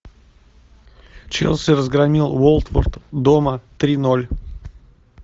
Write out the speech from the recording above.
челси разгромил уотфорд дома три ноль